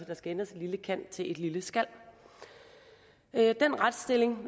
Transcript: der skal ændres et lille kan til et lille skal den retsstilling